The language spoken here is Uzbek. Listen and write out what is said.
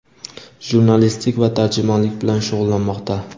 jurnalistlik va tarjimonlik bilan shug‘ullanmoqda.